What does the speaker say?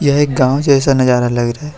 एक गांव जैसा नजारा लग रहा है।